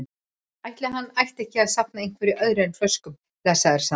Ætli hann ætti ekki að safna einhverju öðru en flöskum, blessaður, sagði hún.